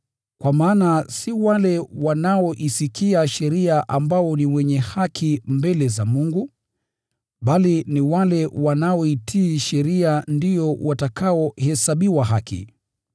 Kwa maana si wale wanaoisikia sheria ambao ni wenye haki mbele za Mungu, bali ni wale wanaoitii sheria ndio watakaohesabiwa haki.